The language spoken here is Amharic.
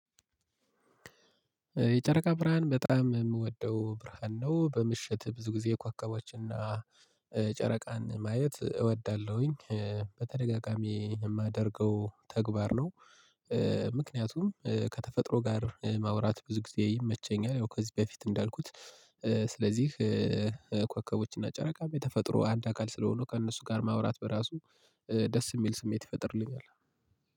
የጨረቃ ብርሃን በጣም የምወደው ብርሃን ነው። በምሽት ብዙ ጊዜ ኮከቦችንና ጨረቃን ማየት እወዳለሁኝ። በተደጋጋሚ የማደርገው ተግባር ነው። ምክንያቱም ከተፈጥሮ ጋር ማውራት ብዙ ጊዜ ይመቸኛል ያው ከዚህ በፊት እንዳልኩት ስለዚህ" ኮከቦችና ጨረቃም የተፈጥሮ አንድ አካል ስለሆኑ ከእነሱ ጋር ማውራት በራሱ ደስ የሚል ስሜት ይፈጥርልኛል።